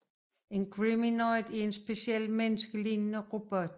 En Geminoid er en speciel menneskelignende robot